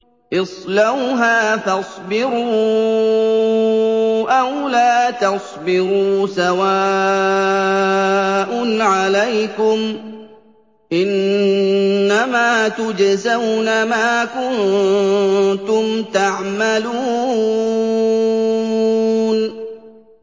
اصْلَوْهَا فَاصْبِرُوا أَوْ لَا تَصْبِرُوا سَوَاءٌ عَلَيْكُمْ ۖ إِنَّمَا تُجْزَوْنَ مَا كُنتُمْ تَعْمَلُونَ